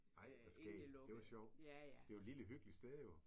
Ej hvor skæg. Det var sjovt. Det jo et lille hyggeligt sted jo